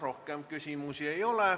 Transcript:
Rohkem küsimusi ei ole.